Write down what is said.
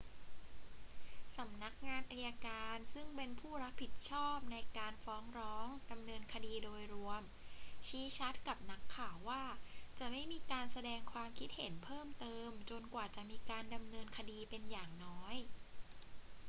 สำนักงานอัยการ ซึ่งเป็นผู้รับผิดชอบในการฟ้องร้องดำเนินคดีโดยรวม ชี้ชัดกับนักข่าวว่าจะไม่มีการแสดงความคิดเห็นเพิ่มเติมจนกว่าจะมีการดำเนินคดีเป็นอย่างน้อย